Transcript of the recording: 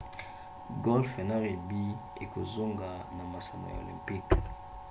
golfe na rugby ekozonga na masano ya olympique